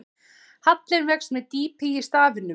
Hallinn vex með dýpi í staflanum.